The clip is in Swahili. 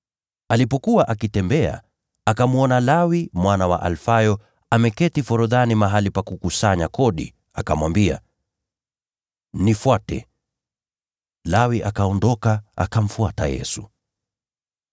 Alipokuwa akitembea, akamwona Lawi mwana wa Alfayo ameketi forodhani mahali pa kutoza ushuru, akamwambia, “Nifuate.” Lawi akaondoka, akamfuata Yesu.